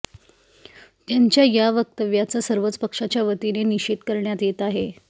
त्यांच्या या वक्तव्याचा सर्वच पक्षाच्या वतीने निषेध करण्यात येत आहे